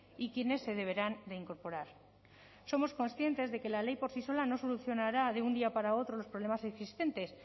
y quienes se deberán de incorporar somos conscientes de que la ley por sí sola no solucionará de un día para otro los problemas existentes